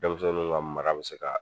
Denmisɛninw ka mara bɛ se ka